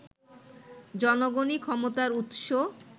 জনগণই ক্ষমতার উৎস